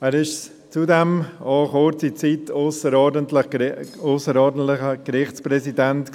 Er war zudem auch für kurze Zeit ausserordentlicher Gerichtspräsident.